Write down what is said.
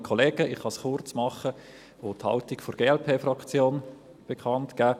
Ich kann es kurz machen und die Haltung der Glp-Fraktion bekannt geben: